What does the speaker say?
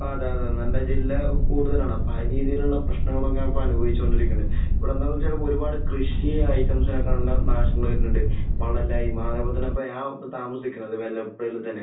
അതെ. അതെ. നമ്മുടെ ജില്ല കൂടുതലാണ്. പല രീതിയിലുള്ള പ്രശ്നങ്ങളും ഒക്കെയാണ് ഇപ്പോൾ അനുഭവിച്ചുകൊണ്ടിരിക്കുന്നുണ്ട്. ഇവിടെ എന്താണെന്ന് വെച്ചാൽ ഒരുപാട് കൃഷി ഐറ്റംസിനെല്ലാം നാശങ്ങൾ വരുന്നുണ്ട്. വെള്ളമില്ലായ്മ, അതുപോലെ തന്നെ ഇപ്പോൾ ഞാൻ താമസിക്കുന്ന ൽ തന്നെ